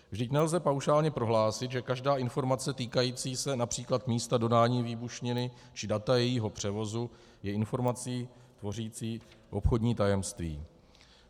Vždyť nelze paušálně prohlásit, že každá informace týkající se například místa dodání výbušniny či data jejího převozu je informací tvořící obchodní tajemství.